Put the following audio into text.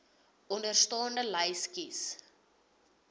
onderstaande lys kies